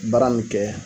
Baara min kɛ